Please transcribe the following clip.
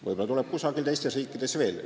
Võib-olla tekib kusagil teistes riikides seda veel.